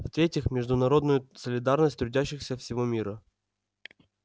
в третьих международную солидарность трудящихся всего мира